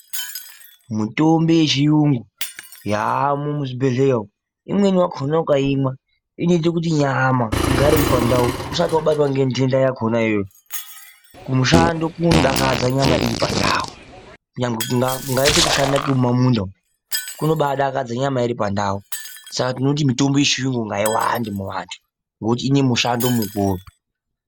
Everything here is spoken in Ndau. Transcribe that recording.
Mitombo yechiyume yaamo muzvibhedhlera umu imweni yakona ukayimwa inoite kuti nyama igare iripandau usati wabatwa nemitenda yakona iyeyo, kumushando kunodakadza muntu uripandau, nyange kungaite kushanda kwemumamunda umo kunodakadza nyama iri pandau, saka tinoti mitombo yechiyume ngaiwande muvantu nokuti inemushando mukuru.